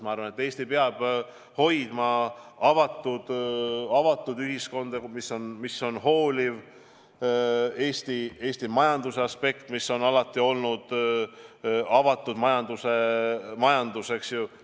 Ma arvan, et Eesti peab hoidma avatud ühiskonda, mis on hooliv, samuti on avatus alati olnud Eesti majanduse põhimõte, eks ju.